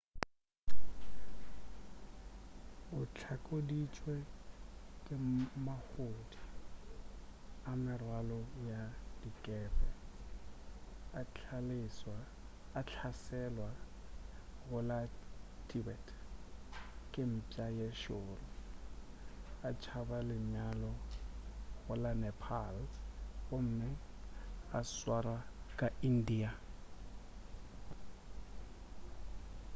o hlakoditšwe ke mahodu a merwalo ya dikepe a hlaselwa go la tibet ke mpša ye šoro a tšhaba lenyalo go la nepal gomme a swarwa ka india